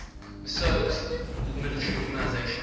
massoud's military organization